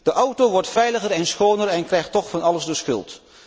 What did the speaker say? De auto wordt veiliger en schoner en krijgt toch van alles de schuld.